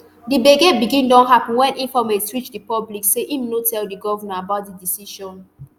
di gbege begin dey happun wen informate reach di public say im no tell di govnor about di decision